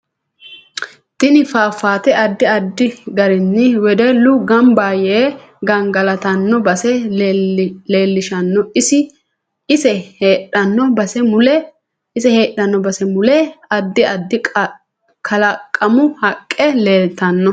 Tini fafaate addi addi garinni wedellu ganbba yee gangagalatanno base leelishanno ise heedahanno base mule addi addi kalaqamu haqqe leeltanno